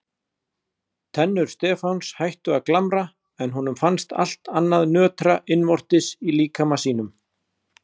Tennur Stefáns hættu að glamra en honum fannst allt annað nötra innvortis í líkama sínum.